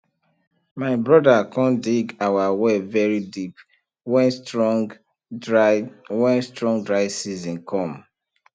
my broda com dig our well very deep wen strong dry wen strong dry season come